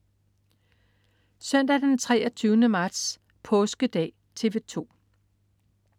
Søndag den 23. marts. Påskedag - TV 2: